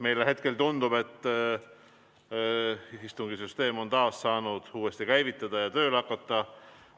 Meile hetkel tundub, et istungisüsteem on taas käivitunud ja tööle hakanud.